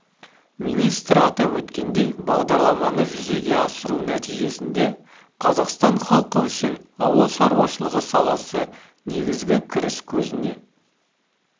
министр атап өткендей бағдарламаны жүзеге асыру нәтижесінде қазақстан халқы үшін ауыл шаруашылығы саласы негізгі кіріс көзіне